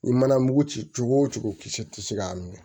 I mana mugu ci cogo o cogo kisi tɛ se k'a minɛ